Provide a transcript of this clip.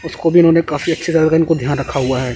उसको भी उन्होंने काफी अच्छे सा ध्यान रखा हुआ है।